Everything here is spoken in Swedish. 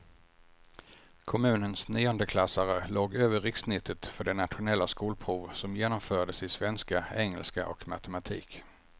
Kommunens niondeklassare låg över rikssnittet för det nationella skolprov som genomfördes i svenska, engelska och matematik.